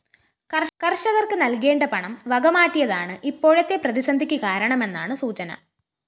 കര്‍ഷകര്‍ക്ക് നല്‍കേണ്ട പണം വകമാറ്റിയതാണ് ഇപ്പോഴത്തെ പ്രതിസന്ധിക്ക് കാരണമെന്നാണ് സൂചന